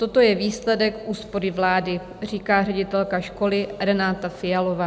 Toto je výsledek úspory vlády," říká ředitelka školy Renáta Fialová.